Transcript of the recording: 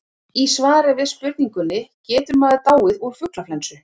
í svari við spurningunni getur maður dáið úr fuglaflensu